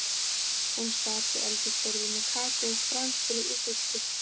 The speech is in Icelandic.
Hún sat við eldhúsborðið með kakó, franskbrauð og sultu.